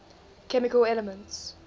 chemical elements